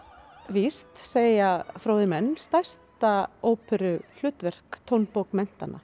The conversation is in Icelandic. víst segja fróðir menn stærsta óperuhlutverk